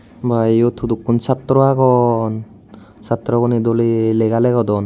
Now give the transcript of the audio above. Ma iyot hudukkun saatro agon saatro gune dolay lega legodon.